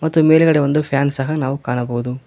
ಮತ್ತು ಮೇಲ್ಗಡೆ ಒಂದು ಫ್ಯಾನ್ ಸಹ ನಾವು ಕಾಣಬಹುದು.